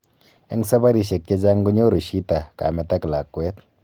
Eng sabarisyek chechaang konyoru shita kameet ak lakwet